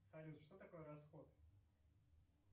салют что такое расход